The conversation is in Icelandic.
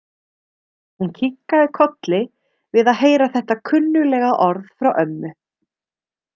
Hún kinkaði kolli við að heyra þetta kunnuglega orð frá ömmu.